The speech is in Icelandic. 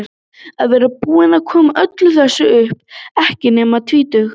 Að vera búinn að koma öllu þessu upp, ekki nema tvítugur.